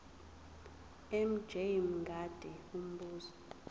mj mngadi umbuzo